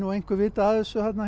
einhver vitað af þessu